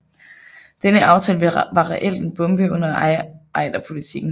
Denne aftale var reelt en bombe under Ejderpolitikken